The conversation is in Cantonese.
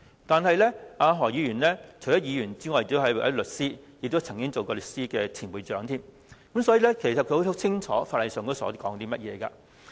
但是，何議員除了是議員之外，還是一名律師，也曾經是香港律師會的前會長，所以，他應該十分清楚法例條文。